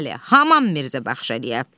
Bəli, Haman Mirzə Baxşəliyə.